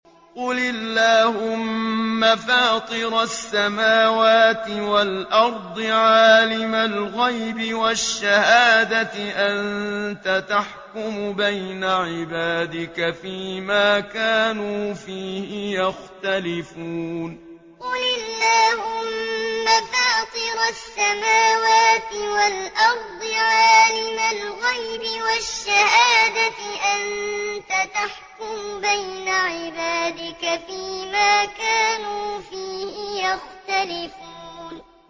قُلِ اللَّهُمَّ فَاطِرَ السَّمَاوَاتِ وَالْأَرْضِ عَالِمَ الْغَيْبِ وَالشَّهَادَةِ أَنتَ تَحْكُمُ بَيْنَ عِبَادِكَ فِي مَا كَانُوا فِيهِ يَخْتَلِفُونَ قُلِ اللَّهُمَّ فَاطِرَ السَّمَاوَاتِ وَالْأَرْضِ عَالِمَ الْغَيْبِ وَالشَّهَادَةِ أَنتَ تَحْكُمُ بَيْنَ عِبَادِكَ فِي مَا كَانُوا فِيهِ يَخْتَلِفُونَ